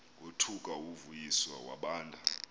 wothuka uvuyiswa wabanda